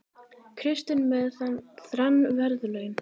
Kristinn með þrenn verðlaun